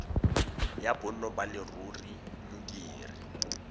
ya bonno ba leruri modiri